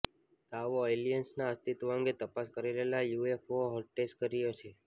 દાવો એલિયન્સના અસ્તિત્વ અંગે તપાસ કરી રહેલા યુએફઓ હંટર્સે કર્યો છે